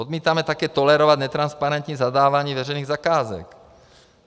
Odmítáme také tolerovat netransparentní zadávání veřejných zakázek.